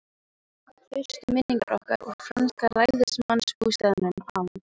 Fyrstu minningar okkar úr franska ræðismannsbústaðnum á